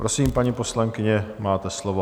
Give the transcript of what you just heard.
Prosím, paní poslankyně, máte slovo.